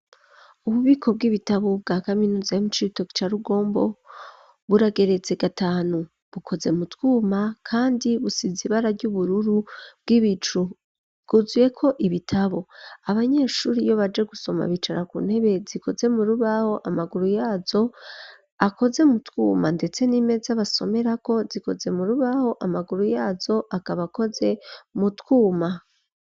Ububiko bw'ibitabo bwa kaminuza yo mu cito ca rugombo bwurageretze gatanu bukoze mutwuma, kandi busizi ibara ry'ubururu bw'ibicu guzyeko ibitabo abanyeshuri iyo baje gusoma bicara ku ntebe zikoze mu rubaho amaguru yazo akoze mutwuma, ndetse e nimeze basomerako zikoze mu rubaho amaguru yazo akabakoze mutwuma.